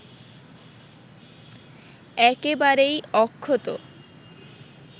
একেবারেই অক্ষত